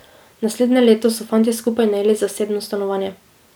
Naslednje leto so fantje skupaj najeli zasebno stanovanje.